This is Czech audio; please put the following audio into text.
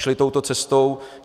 Šli touto cestou.